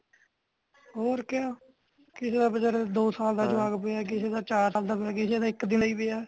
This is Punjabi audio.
ਹੋਰ ਕਯਾ ਕਿਸੀ ਦਾ ਬੀਚਾਰਾ ਦੋ ਸਾਲ ਦਾ ਜਵਾਕ ਪਿਆ ਕਿਸੀ ਦਾ ਚਾਰ ਸਾਲ ਦਾ ਪਿਆ ਕਿਸੀ ਦਾ ਇੱਕ ਦਿਨ ਦਾ ਪਿਆ